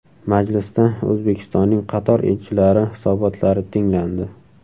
Majlisda O‘zbekistonning qator elchilari hisobotlari tinglandi.